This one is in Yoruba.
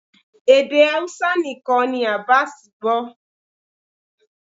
Èdè Hausa nìkan ni Abass gbó